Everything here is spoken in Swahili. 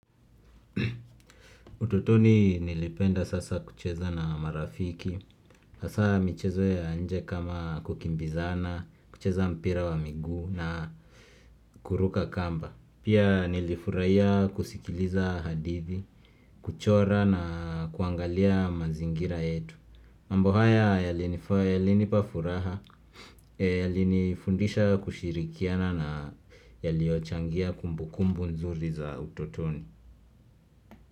Utotoni nilipenda sasa kucheza na marafiki hasa michezo ya nje kama kukimbizana, kucheza mpira wa miguu na kuruka kamba Pia nilifuraia kusikiliza hadithi, kuchora na kuangalia mazingira yetu mambo haya yalini fae yalinipa furaha yalini fundisha kushirikiana na yaliochangia kumbukumbu nzuri za utotoni.